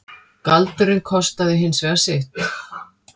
Galdurinn kostaði hins vegar sitt.